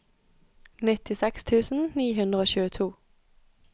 nittiseks tusen ni hundre og tjueto